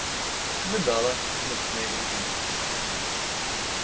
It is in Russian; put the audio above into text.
рыдала прильнув к моей груди